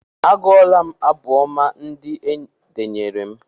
A gụọla m abụ ọma ndị e denyere m.